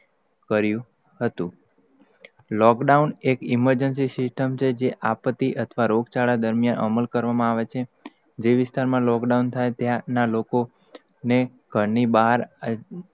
કર્યું હતું lockdown, એક emergency છે? જે આપતી, અથવા રોગચાળા દરમ્યાન અમલ કરવામાં આવે છે. જે વિસ્તાર મા, lockdown થાય ત્યાં ના લોકો, ને ઘર ની બહાર આવવા,